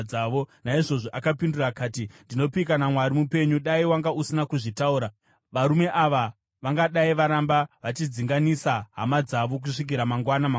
Naizvozvo akapindura akati, “Ndinopika naMwari mupenyu, dai wanga usina kuzvitaura, varume ava vangadai varamba vachidzinganisa hama dzavo kusvikira mangwana mangwanani.”